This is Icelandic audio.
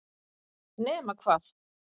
nema hvað